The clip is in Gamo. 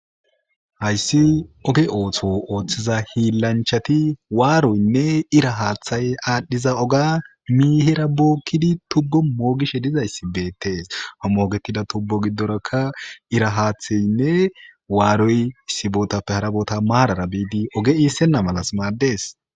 hayssi oge ootho ooththiza hiillanchati waaroynne ira haaththay aadhdhiza oga miihera bookkidi tugo moogishe dizayssi beettees hamoogetida tubbo giddorakka ira haatheynne waaroy issibootappe harabota maarara biidi oge iissenna malas maaddees